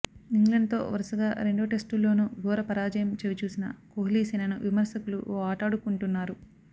ఇంగ్లండ్తో వరుసగా రెండు టెస్టుల్లోనూ ఘోర పరాజయం చవిచూసిన కోహ్లీసేనను విమర్శకులు ఓ ఆటాడుకుంటున్నారు